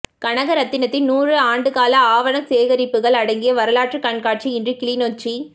கனகரத்தினத்தின் நூறு ஆண்டுகால ஆவணச் சேகரிப்புக்கள் அடங்கிய வரலாற்றுக் கண்காட்சி இன்று கிளிநொச்சி